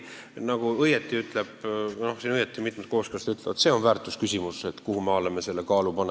Nagu mitmed kooskõlastajad õigesti ütlevad: tegu on väärtusküsimusega, kuidas me neid asju kaalume.